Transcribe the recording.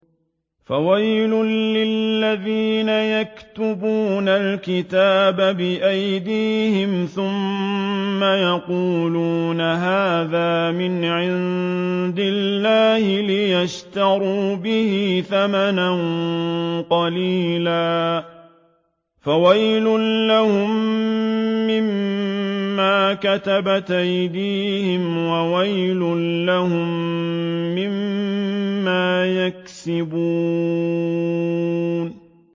فَوَيْلٌ لِّلَّذِينَ يَكْتُبُونَ الْكِتَابَ بِأَيْدِيهِمْ ثُمَّ يَقُولُونَ هَٰذَا مِنْ عِندِ اللَّهِ لِيَشْتَرُوا بِهِ ثَمَنًا قَلِيلًا ۖ فَوَيْلٌ لَّهُم مِّمَّا كَتَبَتْ أَيْدِيهِمْ وَوَيْلٌ لَّهُم مِّمَّا يَكْسِبُونَ